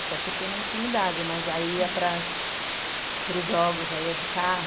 Até porque nem tinha idade, mas aí ia para para os jogos, já ia de carro.